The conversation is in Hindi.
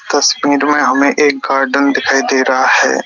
तस्वीर में हमें एक गार्डन दिखाई दे रहा है।